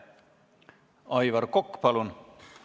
Aivar Kokk, palun!